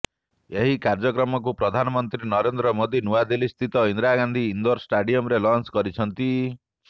ଏହି କାର୍ଯ୍ୟକ୍ରମକୁ ପ୍ରଧାନମନ୍ତ୍ରୀ ନରେନ୍ଦ୍ର ମୋଦୀ ନୂଆଦିଲ୍ଲୀସ୍ଥିତ ଇନ୍ଦିରାଗାନ୍ଧୀ ଇନ୍ଦୋର ଷ୍ଟାଡିୟମରେ ଲଞ୍ଚ କରିଛନ୍ତି